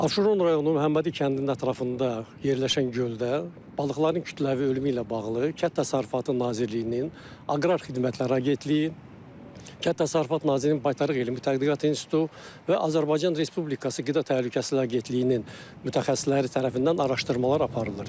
Abşeron rayonunun Məhəmmədi kəndinin ətrafında yerləşən göldə balıqların kütləvi ölümü ilə bağlı Kənd Təsərrüfatı Nazirliyinin Aqrar Xidmətlər Agentliyi, Kənd Təsərrüfat Nazirliyinin Baytarlıq Elmi Tədqiqat İnstitutu və Azərbaycan Respublikası Qida Təhlükəsizliyi Agentliyinin mütəxəssisləri tərəfindən araşdırmalar aparılır.